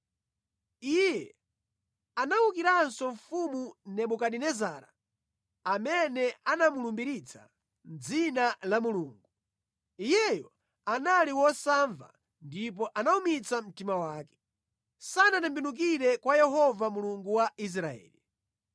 Iye anawukiranso mfumu Nebukadinezara amene anamulumbiritsa mʼdzina la Mulungu. Iyeyo anali wosamva ndipo anawumitsa mtima wake. Sanatembenukire kwa Yehova Mulungu wa Israeli.